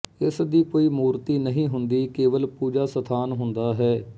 ਇਸ ਦੀ ਕੋਈ ਮੂਰਤੀ ਨਹੀਂ ਹੁੰਦੀ ਕੇਵਲ ਪੂਜਾ ਸਥਾਨ ਹੁੰਦਾ ਹੈ